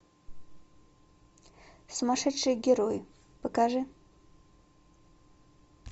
сумасшедшие герои покажи